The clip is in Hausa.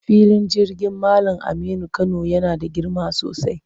Filin jirgin Mallam Aminu Kano yana da girma sosai.